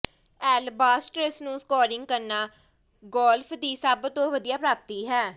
ਐਲਬਾਸਟਰਸ ਨੂੰ ਸਕੋਰਿੰਗ ਕਰਨਾ ਗੋਲਫ ਦੀ ਸਭ ਤੋਂ ਵਧੀਆ ਪ੍ਰਾਪਤੀ ਹੈ